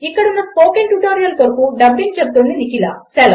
ఇక్కడ ఉన్న spoken tutorial కొరకు డబ్బింగ్ చెపుతున్నది నిఖిల